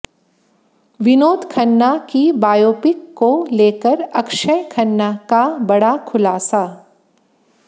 विनोद खन्ना की बायोपिक को लेकर अक्षय खन्ना का बड़ा खुलासा